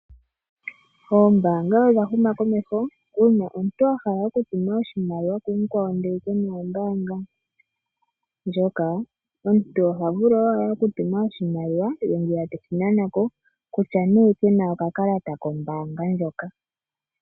Oombaanga odha huma komeho . Uuna omuntu ahala oku tuma oshimaliwa ku mukwawo ndele ye kena ombaanga ndjoka omuntu ohavulu owala oku tuma oshimaliwa ye ngwiya teshi nanako kutya nee kena oka kalata kombaanga ndjoka.